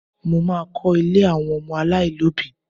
Mo má a kọ́ ilé àwọn ọmọ aláìlóbìí